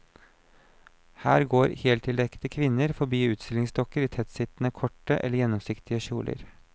Her går heltildekkede kvinner forbi utstillingsdukker i tettsittende, korte eller gjennomsiktige kjoler.